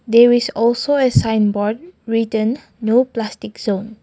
there is also a sign board written no plastic zone.